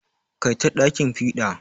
Kai ta ɗakin fiɗa.